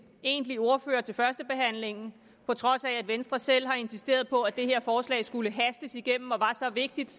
egentlig ordfører til førstebehandlingen på trods af at venstre selv har insisteret på at det her forslag skulle hastes igennem og var så vigtigt